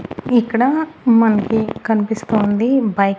ఇక్కడ మనకి కనిపిస్తూంది బైక్ .